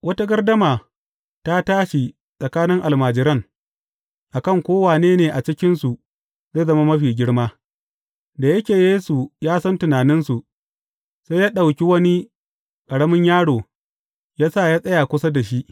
Wata gardama ta tashi a tsakanin almajiran, a kan ko wane ne a cikinsu zai zama mafi girma Da yake Yesu ya san tunaninsu, sai ya ɗauki wani ƙaramin yaro, ya sa ya tsaya kusa da shi.